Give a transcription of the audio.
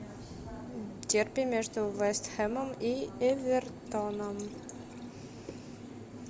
дерби между вест хэмом и эвертоном